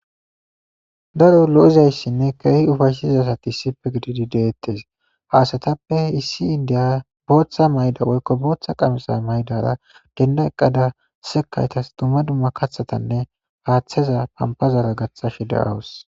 daro lo7izayssinne keehi ufayshshizasati issipe gididi deettes haasatappe issi indiya booththa mayda woykko booththa qamisa maydara genda eqqada sekaytas dumma dumma kathatanne haaththeza pampazara gaththashe da7awus